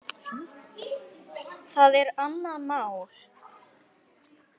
Það er annað mál.